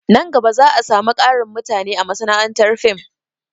Nan gaba za a samu ƙarin mutane a masana'antar fim